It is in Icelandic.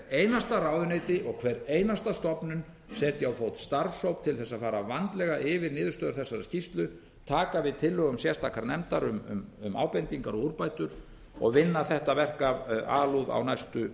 einasta ráðuneyti og hver einasta stofnun setji á fót starfshóp til þess að fara vandlega yfir niðurstöður þessarar skýrslu taka við tillögum sérstakrar nefndar um ábendingar og úrbætur og vinna þetta verk af alúð á næstu